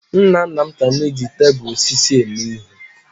Nna nna m ka na-eji tebụl osisi eme ihe.